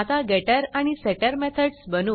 आता Getterगेटटर आणि Setterसेटर मेथडस बनवू